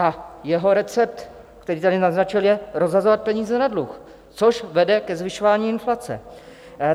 A jeho recept, který tady naznačil, je rozhazovat peníze na dluh, což vede ke zvyšování inflace.